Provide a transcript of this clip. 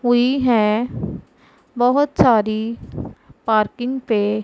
हुई है बहोत सारी पार्किंग पे--